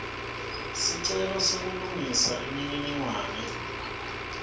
sicelo sekulungisa imininingwane